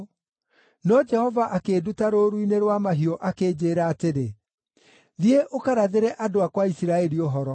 No Jehova akĩnduta rũũru-inĩ rwa mahiũ akĩnjĩĩra atĩrĩ, ‘Thiĩ ũkarathĩre andũ akwa a Isiraeli ũhoro.’